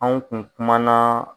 Anw kun kumana